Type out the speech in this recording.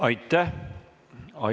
Aitäh!